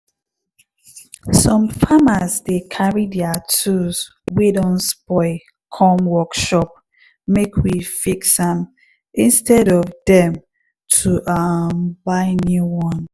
some farmers dey carry deir tools wey don spoil come workshop make we fix am instead of dem to um buy new one